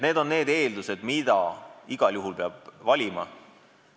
Need on need eeldused, mis igal juhul peavad olema.